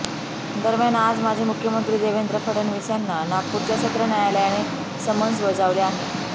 दरम्यान आज माजी मुख्यमंत्री देवेंद्र फडणवीस यांना नागपूरच्या सत्र न्यायालयाने समन्स बजावले आहे